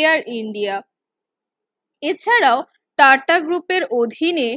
Air India এছাড়াও টাটা গ্রুপের অধীনে